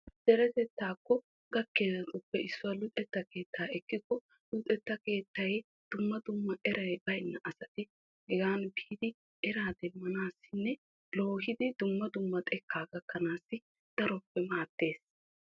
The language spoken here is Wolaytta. Deretetta gakkiyabattuppe issoy luxettay erenna asay luxxiddi dumma dumma eraa demmanawu keehi maadees.